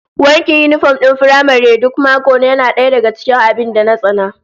Wankin yinifom din firamare duk mako yana daya daga cikin abin da na tsana